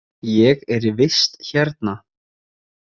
Ég er í vist hérna.